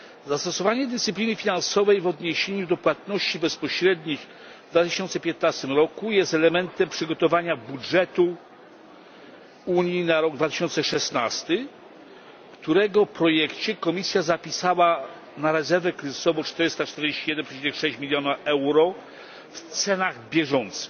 Zastosowanie dyscypliny finansowej w odniesieniu do płatności bezpośrednich w 2015 roku jest elementem przygotowania budżetu Unii na rok 2016, w którego projekcie Komisja zapisała na rezerwę kryzysową 441,6 miliona euro w cenach bieżących.